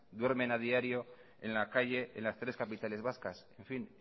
duermen a diario en la calle en las tres capitales vascas en fin